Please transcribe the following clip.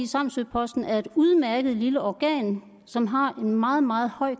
samsø posten er et udmærket lille organ som har en meget meget høj